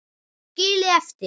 Skilið eftir?